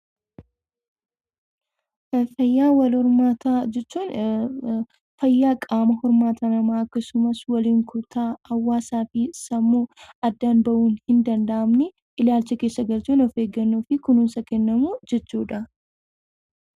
Fayyaa wal hormaataa jechuun fayyaa qaama hormaataa namaa akkasumas waliin kutaa hawaasaa fi sammuu addaan bahuu hin danda'amne ilaalcha keessa galchuun of eeggannoo fi kunuunsa kennamu jechuudha.